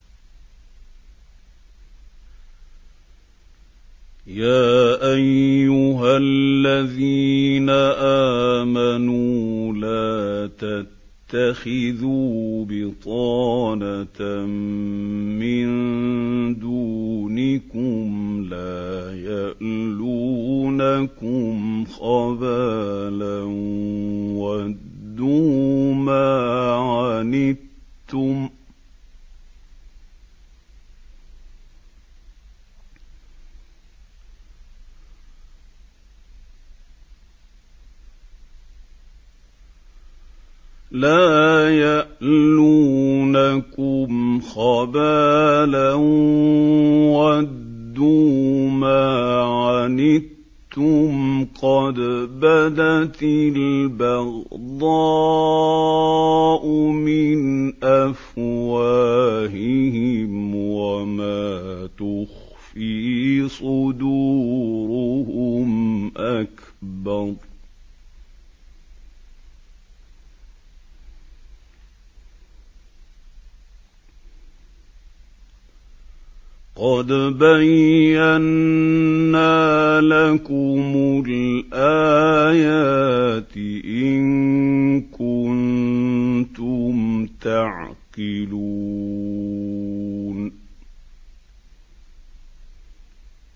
يَا أَيُّهَا الَّذِينَ آمَنُوا لَا تَتَّخِذُوا بِطَانَةً مِّن دُونِكُمْ لَا يَأْلُونَكُمْ خَبَالًا وَدُّوا مَا عَنِتُّمْ قَدْ بَدَتِ الْبَغْضَاءُ مِنْ أَفْوَاهِهِمْ وَمَا تُخْفِي صُدُورُهُمْ أَكْبَرُ ۚ قَدْ بَيَّنَّا لَكُمُ الْآيَاتِ ۖ إِن كُنتُمْ تَعْقِلُونَ